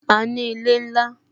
A ní ilé ńlá